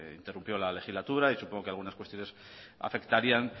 interrumpió la legislatura y supongo que algunas cuestiones afectarían